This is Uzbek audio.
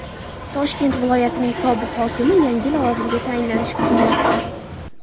Toshkent viloyatining sobiq hokimi yangi lavozimga tayinlanishi kutilmoqda.